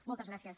moltes gràcies